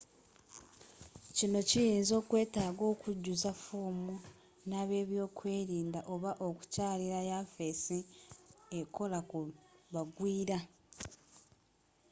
kino kiyinza okwetaaga okujjuza foomu n'abebyokwerin da oba okukyalira yafeesi ekola ku bagwira